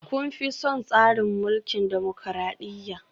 Kun fi son tsarin mulkin dimokradiyya?